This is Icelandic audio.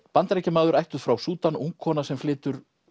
Bandaríkjamaður ættuð frá Súdan ung kona sem flytur